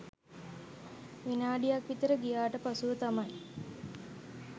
විනාඩික් විතර ගියාට පසුව තමයි